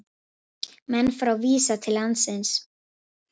Menn frá Visa til landsins